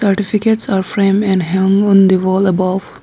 Certificates are frame and hang on the wall above.